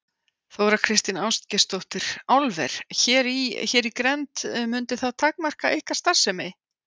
Þóra Kristín Ásgeirsdóttir: Álver hér í, hér í grennd mundi það takmarka ykkar starfsemi?